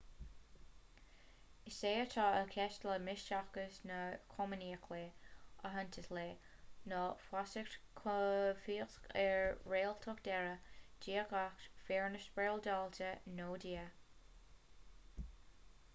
is é atá i gceist le misteachas ná comaoineach le aitheantas le nó feasacht chomhfhiosach ar réaltacht deiridh diagacht fírinne spioradálta nó dia